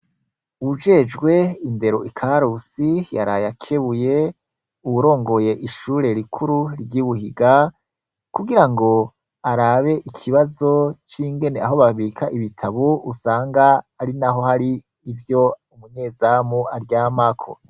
Uwujejwe indero i karusi yaraye akebuye uwuromgoye ishure rikuru ryibuhiga kugirango arabe ikibazo cingene aho babika ibitabo usanga arinaho hari ivyo umunyezamu aryamako